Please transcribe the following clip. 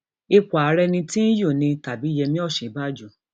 ipò ààrẹ um ní tìnyu ni tàbí yẹmi òsínbàjò